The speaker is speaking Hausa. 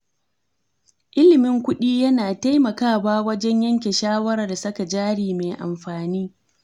Ilimin kudi yana taimakawa wajen yanke shawarar saka jari mai amfani.